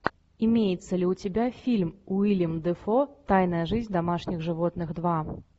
имеется ли у тебя фильм уильям дефо тайная жизнь домашних животных два